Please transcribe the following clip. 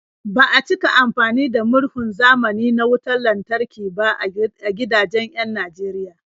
Ba a cika amfani da murhun zamani na wutar lantarki ba a gidajen 'yan Najeriya.